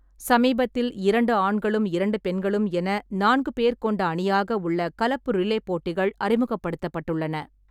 சமீபத்தில், இரண்டு ஆண்களும் இரண்டு பெண்களும் என நான்கு பேர் கொண்ட அணியாக உள்ள கலப்பு ரிலே போட்டிகள் அறிமுகப்படுத்தப்பட்டுள்ள.